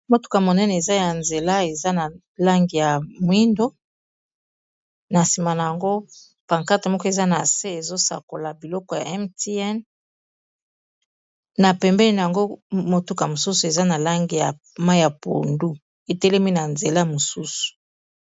motuka monene eza ya nzela eza na langi ya mwindo na nsima na yango pankate moko eza na se ezosakola biloko ya mtn na pembeni na yango motuka mosusu eza na langi ya ma ya pondu etelemi na nzela mosusu